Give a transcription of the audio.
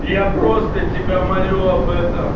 я просто тебя молю об этом